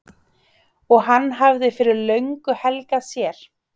og hann hafði fyrir löngu helgað sér.